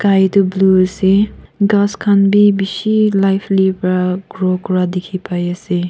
ey tu blue ase ghas khan bi bishi lively para grow kura dikhi pai ase.